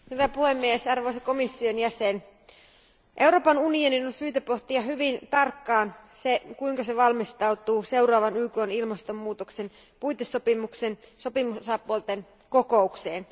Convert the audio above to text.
Arvoisa puhemies, arvoisa komission jäsen, Euroopan unionin on syytä pohtia hyvin tarkkaan sitä, kuinka se valmistautuu seuraavaan YKn ilmastonmuutoksen puitesopimuksen sopimusosapuolten kokoukseen.